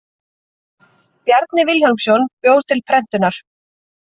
Bjarni Vilhjálmsson bjó til prentunar.